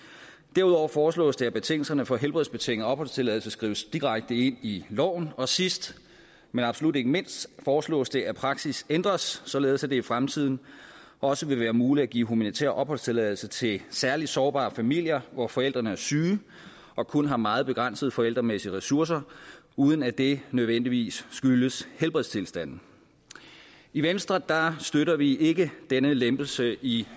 derudover foreslås det at betingelserne for helbredsbetinget opholdstilladelse skrives direkte ind i loven og sidst men absolut ikke mindst foreslås det at praksis ændres således at det i fremtiden også vil være muligt at give humanitær opholdstilladelse til særligt sårbare familier hvor forældrene er syge og kun har meget begrænsede forældremæssige ressourcer uden at det nødvendigvis skyldes helbredstilstanden i venstre støtter vi ikke denne lempelse i